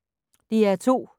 DR2